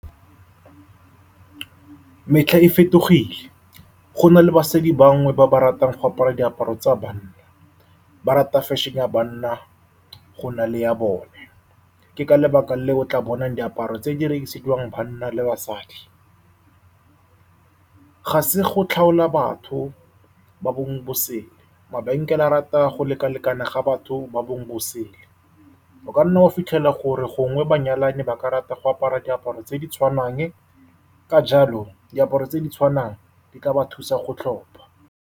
Metlha e fetogile, go na le basadi bangwe ba ba ratang go apara diaparo tsa banna. Ba rata fashion-e ya banna go na le ya bone, ke ka lebaka leo o tla bonang diaparo tse di rekisiwang banna le basadi. Ga se go tlhaola batho ba bongwe bo sele, mabenkele a rata go lekalekana ga batho ba bongwe bo sele. O kanna wa fitlhela gore gongwe banyalani ba ka rata go apara diaparo tse di tshwanang. Ka jalo diaparo tse di tshwanang di ka ba thusa go tlhopha.